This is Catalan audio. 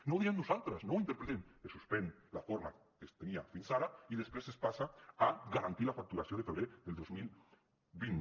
no ho diem nosaltres no ho interpretem es suspèn la forma que es tenia fins ara i després es passa a garantir la facturació de febrer del dos mil vint